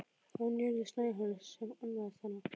Það var Njörður Snæhólm sem annaðist hana.